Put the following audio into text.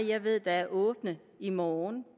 jeg ved er åbne i morgen